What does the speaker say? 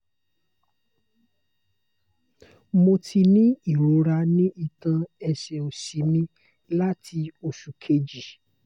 mo ti ní irora ni itan ẹsẹ osi mi lati osu keji